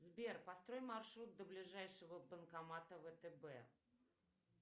сбер построй маршрут до ближайшего банкомата втб